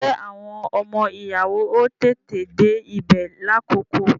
Ṣé àwọn ọmọ ìyàwó ó tètè dé ibè lákòókò?